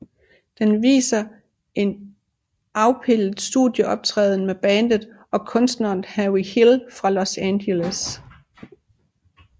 Den viser en afpildet studieoptræden med bandet og kunstneren Henry Hill fra Los Angeles